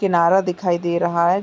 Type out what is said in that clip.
किनारा दिखाई दे रहा है।